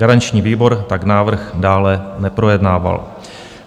Garanční výbor tak návrh dále neprojednával.